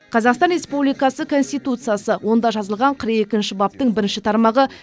қазақстан республикасы конституциясы онда жазылған қырық екінші баптың бірінші тармағы